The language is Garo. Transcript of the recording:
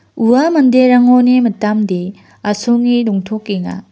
ua manderangoni mitamde asonge dongtokenga.